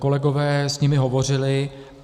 Kolegové s nimi hovořili.